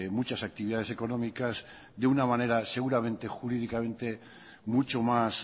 muchas actividades económicas de una manera seguramente jurídicamente mucho más